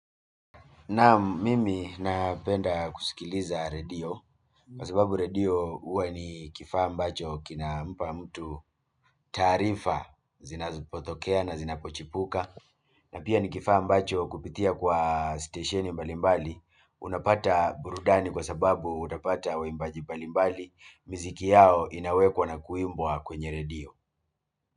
Naam mimi napenda kusikiliza redio. Kwa sababu redio uwa ni kifaa ambacho kinampa mtu taarifa zinazopotokea na zinapochipuka. Na pia ni kifaa ambacho kupitia kwa stesheni mbalimbali. Unapata burudani kwa sababu unapata wa imbaji mbalimbali. Miziki yao inawekwa na kuimbwa kwenye redio.